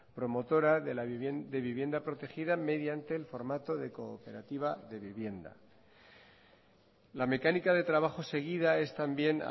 promotora de vivienda protegida mediante el formato de cooperativa de vivienda la mecánica de trabajo seguida es también